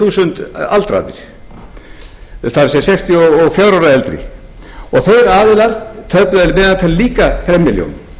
þúsund aldraðir það er sextíu og fjögurra ára og eldri og þeir aðilar töpuðu að meðaltali líka þrem milljónum